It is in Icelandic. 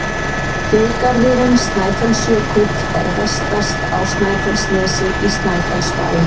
Þjóðgarðurinn Snæfellsjökull er vestast á Snæfellsnesi, í Snæfellsbæ.